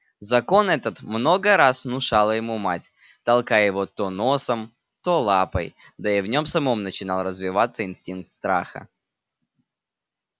закон этот много раз внушала ему мать толкая его то носом то лапой да и в нём самом начинал развиваться инстинкт страха